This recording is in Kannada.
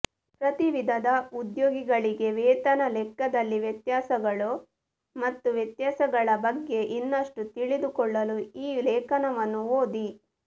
ಪ್ರತಿ ವಿಧದ ಉದ್ಯೋಗಿಗಳಿಗೆ ವೇತನ ಲೆಕ್ಕದಲ್ಲಿ ವ್ಯತ್ಯಾಸಗಳು ಮತ್ತು ವ್ಯತ್ಯಾಸಗಳ ಬಗ್ಗೆ ಇನ್ನಷ್ಟು ತಿಳಿದುಕೊಳ್ಳಲು ಈ ಲೇಖನವನ್ನು ಓದಿ